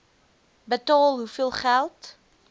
betaal hoeveel geld